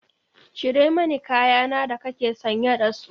Cire mani kaya na da kake sanye da su!